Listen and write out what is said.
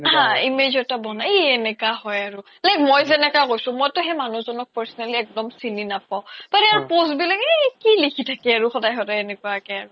হা image এটা বনাই ই এনেকা হয় like মই জেনেকুৱা কৈছো মইতো সেই মানুহ জ্নক personally এক্দম চিনি নাপাও তেতিয়া post বিলাক আৰু কি লিখি থাকে স্দাই স্দাই এনেকুৱা কে মানে